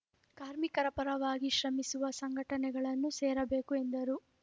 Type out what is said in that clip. ಕಾರ್ಮಿಕರ ಪರವಾಗಿ ಶ್ರಮಿಸುವ ಸಂಘಟನೆಗಳನ್ನು ಸೇರಬೇಕು ಎಂದರು